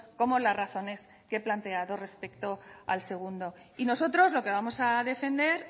como las razones que he planteado respecto al segundo y nosotros lo que vamos a defender